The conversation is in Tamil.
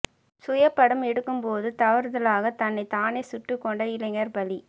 சுய படம் எடுக்கும்போது தவறுதலாக தன்னைத் தானே சுட்டுக் கொண்ட இளைஞர் பலி